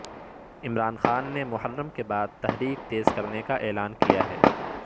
عمران خان نے محرم کے بعد تحریک تیز کرنے کا اعلان کیا ہے